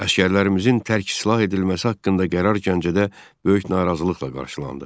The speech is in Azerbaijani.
Əsgərlərimizin tərk silah edilməsi haqqında qərar Gəncədə böyük narazılıqla qarşılandı.